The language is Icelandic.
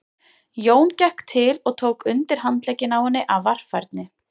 Jón gekk til og tók undir handlegginn á henni af varfærni.